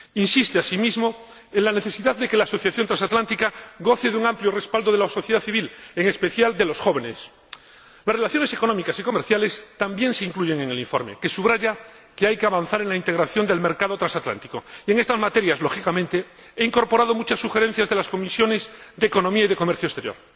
Insiste, asimismo, en la necesidad de que la asociación transatlántica goce de un amplio respaldo de la sociedad civil, en especial de los jóvenes. Las relaciones económicas y comerciales también se incluyen en el informe, que subraya que hay que avanzar en la integración del mercado transatlántico. Y en estas materias, lógicamente, he incorporado muchas sugerencias de las Comisiones de Economía y de Comercio Exterior.